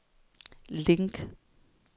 link